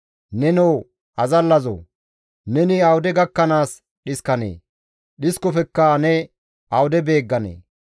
Nenoo azallazoo! Neni awude gakkanaas dhiskanee? Dhiskofekka ne awude beegganee?